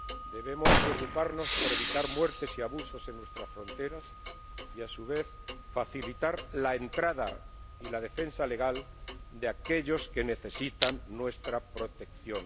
Debemos preocuparnos por evitar muertes y abusos en nuestras fronteras y, a su vez, facilitar la entrada y la defensa legal de aquellos que necesitan nuestra protección.